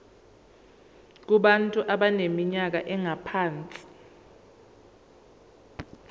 kubantu abaneminyaka engaphansi